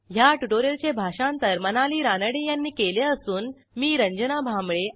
ह्या ट्युटोरियलचे भाषांतर मनाली रानडे यांनी केले असून मी आपला निरोप घेते160